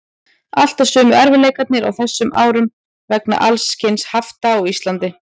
Alltaf sömu erfiðleikarnir á þessum árum vegna alls kyns hafta á Íslandi.